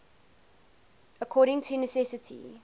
according to necessity